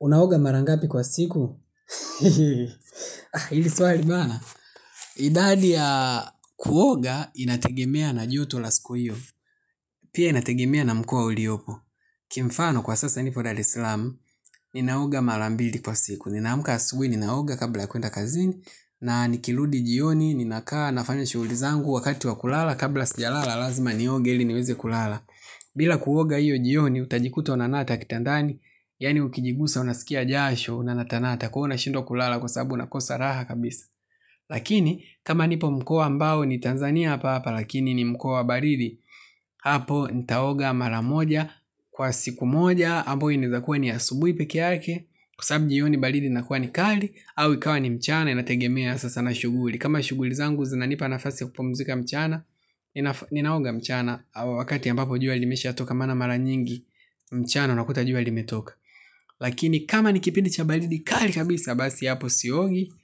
Unaoga mara ngapi kwa siku? Hili swali bana. Idadi ya kuoga inategemea na joto la siku hiyo. Pia inategemea na mkoa uliopo. Kimfano kwa sasa nipo daresalam ninaoga mara mbili kwa siku. Ninaamka asubui, ninaoga kabla ya kuenda kazini, na nikirudi jioni, ninakaa nafanya shughuli zangu wakati wa kulala, kabla sijalala lazima nioge ili niweze kulala. Bila kuoga hiyo jioni, utajikuta unanata kitandani, yaani ukijigusa, unasikia jasho, unanatanata kwa hiyo ushindwa kulala kwa sababu unakosa raha kabisa. Lakini kama nipo mkoa ambao ni Tanzania hapa hapa lakini ni mkoa baridi. Hapo nitaoga mara moja kwa siku moja ambayo inawezakuwa ni asubuhi peke yake kwa sababu jioni baridi inakuwa ni kali au ikawa ni mchana inategemea sasa na shughuli. Kama shughuli zangu zinanipa nafasi kupumzika mchana ninaoga mchana wakati ambapo jua limeshatoka maana mara nyingi mchana unakuta jua limetoka. Lakini kama ni kipindi cha baridi kali kabisa basi hapo siogi.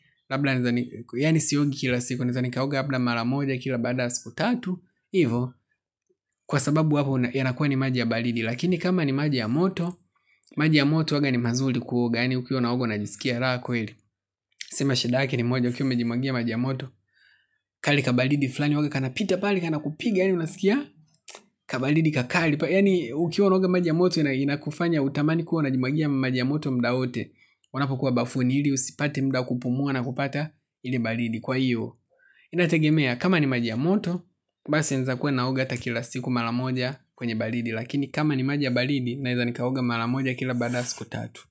Yani siogi kila siku. Naeza nikaoga labda mara moja kila baada siku tatu. Ivo kwa sababu hapo yanakuwa ni maji ya baridi. Lakini kama ni maji ya moto maji ya moto huwaga ni mazuri kuoga yani ukiwa unaoga unajisikia raha kweli. Sema shidake ni moja ukiwa umejimwagia maji ya moto. Kale kabaridi fulani huwaga kanapita pale. Kana kupiga yani unasikia. Kabaridi kakali. Yani ukiwa unaoga maji ya moto inakufanya utamani kuwa unajimwagia maji ya moto mda wote wanapokuwa bafuni hili usipate muda wa kupumua na kupata ile baridi kwa hiyo inategemea kama ni maji ya moto basi naeza kuwa naoga hata kila siku mara moja kwenye baridi lakini kama ni maji ya baridi naeza nikaoga mara moja kila baada ya siku tatu.